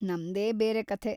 ನಮ್ದೇ ಬೇರೆ ಕಥೆ!